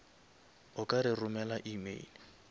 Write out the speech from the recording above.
o ka re romela email